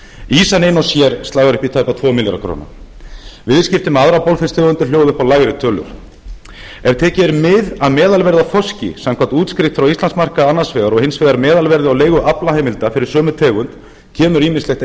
ýsan ein og sér slagar upp í tæpa tvo milljarða króna viðskipti með aðrar bolfisktegundir hljóða upp á lægri tölur ef tekið er mið af meðalverði á þorski samkvæmt útskrift frá íslandsmarkaði annars vegar og hins vegar meðalverði á leigu aflaheimilda fyrir sömu tegund kemur ýmislegt